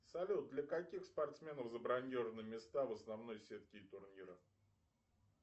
салют для каких спортсменов забронированы места в основной сетке турнира